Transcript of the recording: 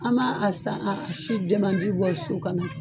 An ma a san a si bɔ so ka na.